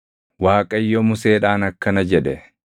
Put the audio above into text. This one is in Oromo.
Waaqayyo Museedhaan akkana jedhe;